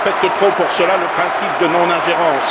Je respecte trop pour cela le principe de non ingérence.